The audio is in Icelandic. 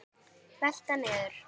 Velta niður.